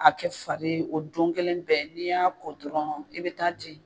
A kɛ fari ye o don kelen bɛɛ, n'i y'a ko dɔrɔn i be taa di